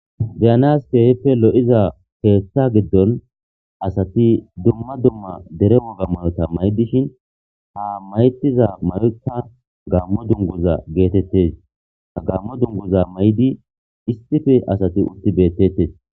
Diyanaskehppe lo'iza keeththa giddon asati dumma dumma dere woga mayota may' dishin ha maytiza malita gammo dunguza geetettes ha gammo dunguza may'di issife asati utti bettettes